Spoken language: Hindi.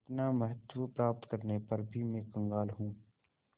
इतना महत्व प्राप्त करने पर भी मैं कंगाल हूँ